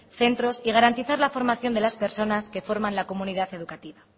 centros y garantizar la formación de las personas que forman la comunidad educativa